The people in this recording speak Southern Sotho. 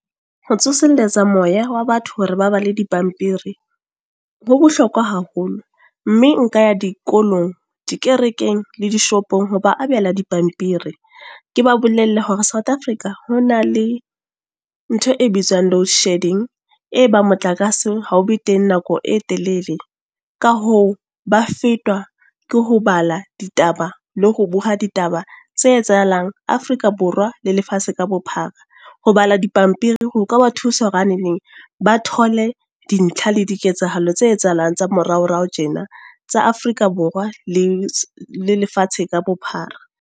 Ho tsoselletsa moya wa batho hore ba bale dipampiri. Ho bohlokwa haholo. Mme nka ya dikolong, dikerekeng le di-shop-ong, ho ba abela dipampiri. Ke ba bolelle hore, South Africa ho na le ntho e bitswang load shedding. E bang motlakase ha o be teng nako e telele. Ka hoo ba fetwa ke ho bala ditaba le ho boha ditaba tse etsahalang Afrika Borwa, le lefatshe ka bophara. Ho bala dipampiri ho ka ba thusa hobaneneng ba thole dintlha e di ketsahalo tse etsahalang tsa moraorao tjena. Tsa Afrika Borwa le lefatshe ka bophara.